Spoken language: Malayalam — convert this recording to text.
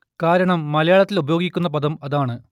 കാരണം മലയാളത്തിൽ ഉപയോഗിക്കുന്ന പദം അതാണ്